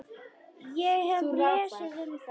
Ég hef lesið um það.